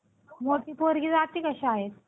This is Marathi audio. मोठी पोरगी जाती का शाळेत?